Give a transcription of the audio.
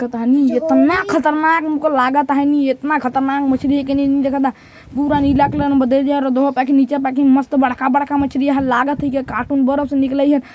पता नहीं इतना खतरनाक हमको लागत आहय नी इतना खतरनाक मछरी हे के नी देखत ता पूरा नीला कलर मस्त बड़का बड़का मछरी हे लागत हे की कार्टून बर्फ से निकलइ ह --